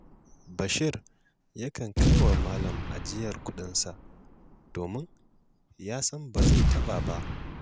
Bashir yakan kai wa malam ajiyar kuɗinsa domin ya san ba zai ta ɓa ba